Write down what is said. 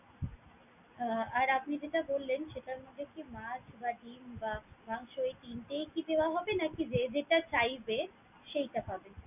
আহ আর আপনি যেটা বললেন, সেটার মধ্যে কি মাছ বা ডিম বা মাংস এই তিনটেই কি দেওয়া হবে নাকি যে যেইটা চাইবে সেইটা পাবে?